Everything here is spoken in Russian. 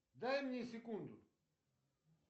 дай мне секунду